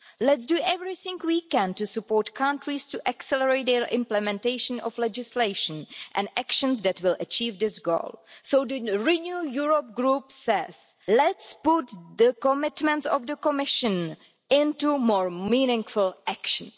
Let's do everything we can to support countries to accelerate their implementation of legislation and actions that will achieve this goal. So the Renew Europe group says let's put the commitments of the Commission into more meaningful action.